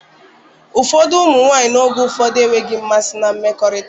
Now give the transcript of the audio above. Ụfọdụ ụmụ nwanyị n'oge ụfọdụ enweghị mmasị na mmekọrịta